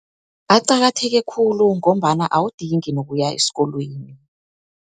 Aqakatheke khulu ngombana awudingi nokuya esikolweni.